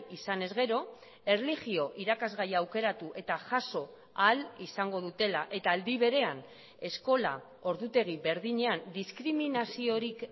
izanez gero erlijio irakasgaia aukeratu eta jaso ahal izango dutela eta aldi berean eskola ordutegi berdinean diskriminaziorik